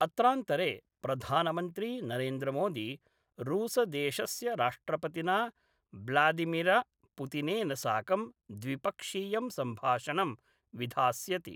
अत्रान्तरे प्रधानमन्त्री नरेन्द्रमोदी रूसदेशस्य राष्ट्रपतिना ब्लादिमिर पुतिनेन साकं द्विपक्षीयं सम्भाषणं विधास्यति।